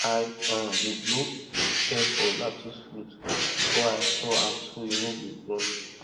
i um dey blow air for lettuce root before i store am so e no go rot